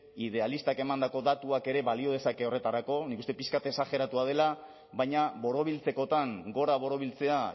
idealistak emandako datuak ere balio dezake horretarako nik uste dut pixka bat exageratua dela baina borobiltzekotan gora borobiltzea